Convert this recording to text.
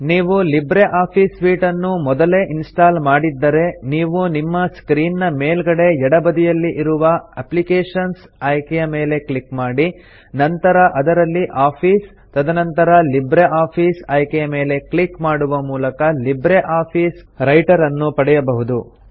ನೀವು LibreOffice suite ಅನ್ನು ಮೊದಲೇ ಇನ್ಸ್ಟಾಲ್ ಮಾಡಿದ್ದರೆ ನೀವು ನಿಮ್ಮ ಸ್ಕ್ರೀನ್ ನ ಮೇಲ್ಗಡೆ ಎಡ ಬದಿಯಲ್ಲಿ ಇರುವ ಅಪ್ಲಿಕೇಶನ್ಸ್ ಆಯ್ಕೆಯ ಮೇಲೆ ಕ್ಲಿಕ್ ಮಾಡಿ ನಂತರ ಅದರಲ್ಲಿ ಆಫೀಸ್ ತದನಂತರ ಲಿಬ್ರಿಆಫಿಸ್ ಆಯ್ಕೆಯ ಮೇಲೆ ಕ್ಲಿಕ್ ಮಾಡುವ ಮೂಲಕ ಲಿಬ್ರೆ ಆಫೀಸ್ ರೈಟರ್ ಅನ್ನು ಪಡೆಯಬಹುದು